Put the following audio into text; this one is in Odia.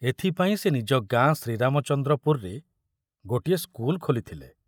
ଏଥିପାଇଁ ସେ ନିଜ ଗାଁ ଶ୍ରୀରାମଚନ୍ଦ୍ରପୁରରେ ଗୋଟିଏ ସ୍କୁଲ ଖୋଲିଥିଲେ।